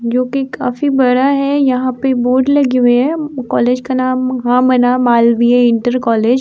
जो कि काफी बड़ा है। यहाँ पे बोर्ड लगे हुए हैं। कॉलेज का नाम महामना मालवीय इंटर कॉलेज --